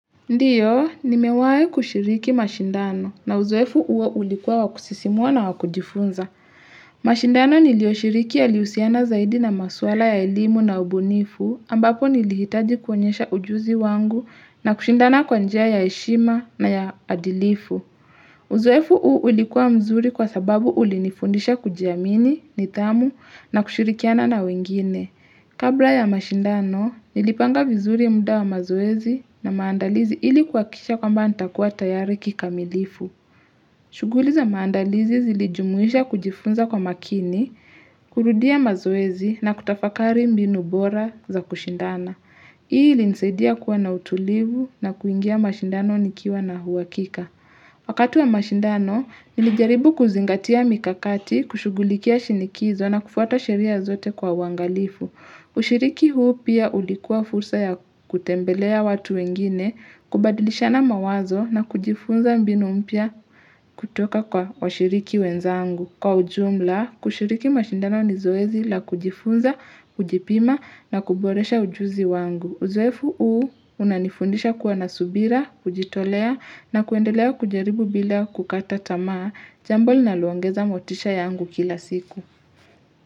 Ndiyo, nimewahi kushiriki mashindano na uzoefu huo ulikuwa wakusisimua na wakujifunza. Mashindano niliyoshiriki yaliusiana zaidi na maswala ya elimu na ubunifu ambapo nilihitaji kuonyesha ujuzi wangu na kushindana kwanjia ya eshima na ya adilifu. Uzoefu huo ulikuwa mzuri kwa sababu ulinifundisha kujiamini, nitamu na kushirikiana na wengine. Kabla ya mashindano, nilipanga vizuri muda wa mazoezi na maandalizi ilikuakisha kwamba ntakuwa tayari kikamilifu. Shuguli za maandalizi zilijumuisha kujifunza kwa makini, kurudia mazoezi na kutafakari mbinu bora za kushindana. Ili nisedia kuwa na utulivu na kuingia mashindano nikiwa na huwakika. Wakatu wa mashindano, nilijaribu kuzingatia mikakati, kushugulikia shinikizo na kufuata sheria zote kwa wangalifu. Ushiriki huu pia ulikuwa fursa ya kutembelea watu wengine, kubadilisha na mawazo na kujifunza mbinu mpia kutoka kwa washiriki wenzangu. Kwa ujumla, kushiriki mashindano ni zoezi la kujifunza, kujipima na kuboresha ujuzi wangu. Uzoefu uu unanifundisha kuwa nasubira, kujitolea na kuendelea kujaribu bila kukata tamaa, jambo linalo ongeza motisha yangu kila siku.